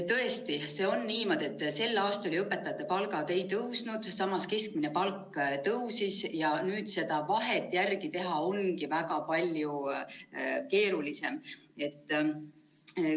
Tõesti on niimoodi, et sel aastal õpetajate palgad ei tõusnud, samas keskmine palk tõusis ja nüüd seda vahet järgi teha ongi väga palju keerulisem.